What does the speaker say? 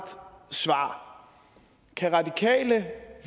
svar kan radikale